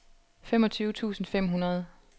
femogtyve tusind fem hundrede